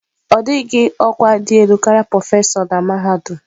Ọ dịghị ọkwa dị elu karịa prọfesọ na mahadum.